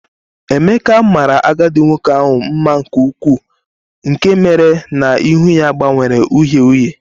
Emeka mara agadi nwoke ahụ mma nke ukwuu nke mere na ihu ya gbanwere uhie uhie